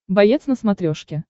боец на смотрешке